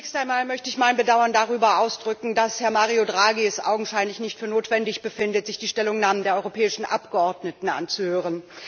Zunächst einmal möchte ich mein Bedauern drüber ausdrücken, dass Herr Mario Draghi es augenscheinlich nicht für notwendig befindet, sich die Stellungnahmen der europäischen Abgeordneten anzuhören.